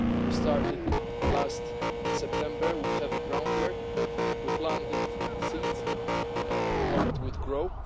We started last September with heavy groundwork, we planted seeds we hoped would grow.